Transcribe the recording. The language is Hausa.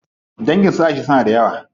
Dangin su Aisha suna da yawa.